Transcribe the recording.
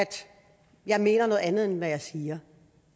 jeg mener noget andet end det jeg siger